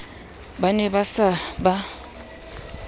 ba ne ba sa ba